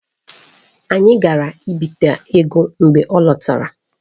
Anyị gara ibite ego mgbe ọ lọtara.